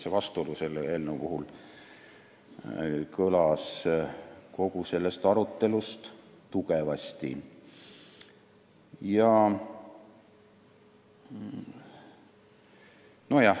See vastuolu jäi kogu sellest eelnõu arutelust tugevasti kõlama.